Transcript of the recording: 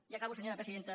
i acabo senyora presidenta